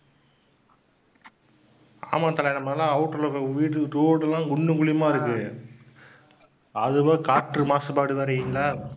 ஆமாம் தல. நம்மளது எல்லாம் outer ல இருக்க வீடு, road எல்லாம் குண்டும் குழியுமா இருக்கு. அதுவும் காற்று மாசுபாடு